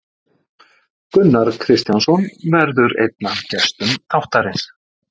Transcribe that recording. Gunnar Kristjánsson verður einn af gestum þáttarins.